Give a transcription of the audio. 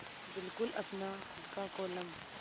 बिल्कुल अपना खु़द का कोलम